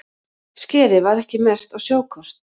Skerið var ekki merkt á sjókort